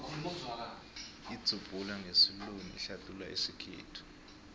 idzubhula ngesiluwini ihlathulula isikhethu